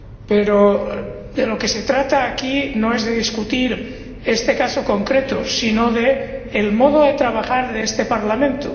Pero de lo que se trata aquí no es de discutir este caso concreto, sino del modo de trabajar de este Parlamento.